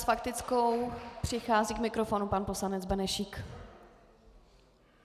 S faktickou přichází k mikrofonu pan poslanec Benešík.